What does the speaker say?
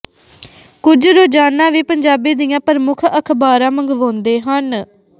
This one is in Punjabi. ਕੁਝ ਰੋਜ਼ਾਨਾ ਵੀ ਪੰਜਾਬੀ ਦੀਆਂ ਪ੍ਰਮੁੱਖ ਅਖ਼ਬਾਰਾਂ ਮੰਗਵਾਉਂਦੇ ਹਨ